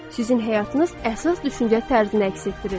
Sizin həyatınız əsas düşüncə tərzini əks etdirir.